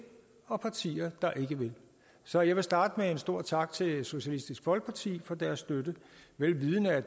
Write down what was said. og partier der ikke vil så jeg vil starte med at give en stor tak til socialistisk folkeparti for deres støtte vel vidende at